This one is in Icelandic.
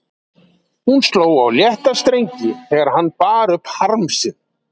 Hún sló á létta strengi þegar hann bar upp harm sinn.